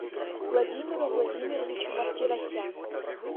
владимиру владимировичу мартиросяну